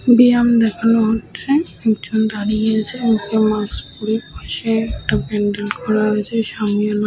ব্যায়াম দেখানো হচ্ছে। একজন দাঁড়িয়ে আছে একটা মাস্ক পরেছে পাশেই একটা প্যান্ডেল করা আছে সামিয়ানা --